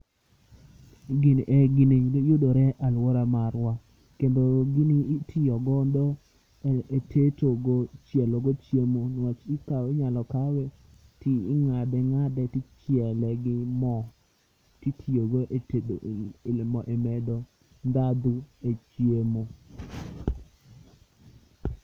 E gini eh gini yudore alwora marwa. Kendo gini itiyogodo e tetogo, chielo go chiemo. Niwach ikaw, inyalo kawe ti ing'ad ng'ade tichiele gi mo titiyogo e tedo e medo ndhandu e chiemo.